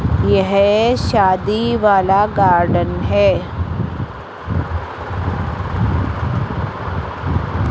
यह शादी वाला गार्डन है।